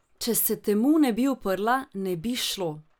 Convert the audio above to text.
Če se temu ne bi uprla, ne bi šlo.